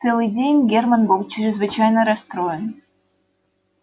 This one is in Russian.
целый день германн был чрезвычайно расстроен